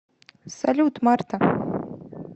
салют марта